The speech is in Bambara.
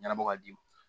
Ɲɛnabɔ ka d'i ma